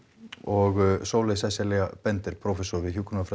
og Sóley Sesselja prófessor